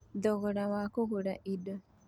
Thogora wa kũgũra indo: